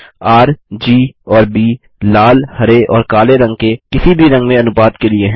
RGऔर ब लाल हरे और काले रंग के किसी भी रंग में अनुपात के लिए है